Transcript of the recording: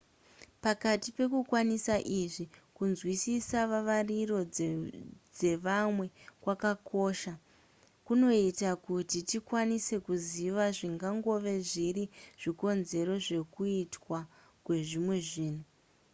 pakati pekukwanisa izvi kunzwisisa vavariro dzevamwe kwakakosha kunoita kuti tikwanise kuziva zvingangove zviri zvikonzero zvekuitwa kwezvimwe zvinhu